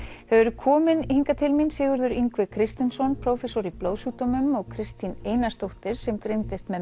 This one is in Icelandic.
þau eru komin hingað til mín Sigurður Yngvi Kristinsson prófessor í blóðsjúkdómum og Kristín Einarsdóttir sem greindist með